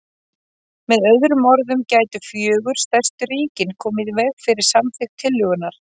Með öðrum orðum gætu fjögur stærstu ríkin komið í veg fyrir samþykkt tillögunnar.